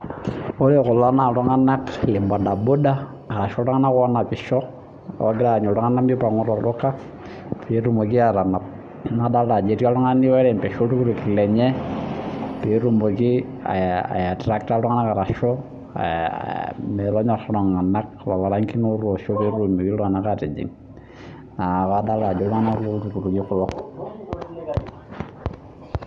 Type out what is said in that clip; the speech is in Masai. Ore kulo naa iltung'ana lee bodaboda ashu iltung'ana loo napisho ogiraa anyu iltung'ana mipangu too olduka pee etumoki atanap nadolita Ajo etii oltung'ani oirembesha oltukutuk lenye petumoki aitractor iltung'ana metonyor lelo rangin otosho pee etumoki iltung'ana atijing adol Ajo iltung'ana loo lukunguni kulo